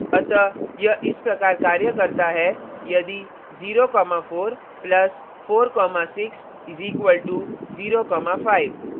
अतः यह इस प्रकार कार्य करता है यदि 04 + 46 = 05